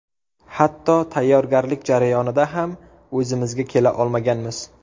Hatto tayyorgarlik jarayonida ham o‘zimizga kela olmaganmiz.